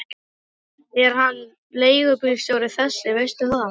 Er hann leigubílstjóri þessi, veistu það?